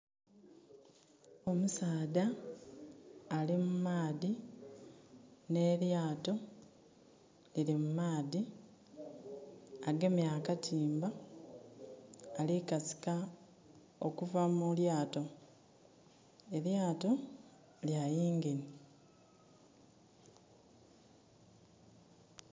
Omusaadha ali mu maadhi nh'elyaato lili mu maadhi. Agemye akatimba ali kasika okuva mu lyaato. Elyaato lya engine.